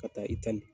Ka taa itali